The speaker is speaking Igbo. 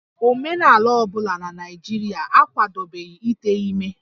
Omenala ọ bụla na Naịjirịa akwadobeghị ite ime